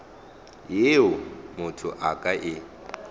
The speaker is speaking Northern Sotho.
yeo motho a ka e